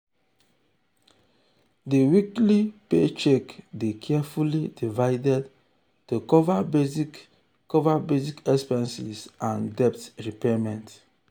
di weekly paycheck dey carefully divided to cover basic cover basic expenses and debt repayment.